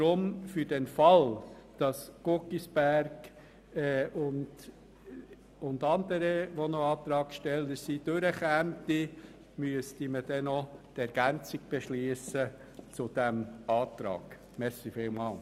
Deshalb müsste man dann noch eine Ergänzung zu diesem Antrag beschliessen, für den Fall, dass der Antrag Guggisberg sowie andere Anträge angenommen werden.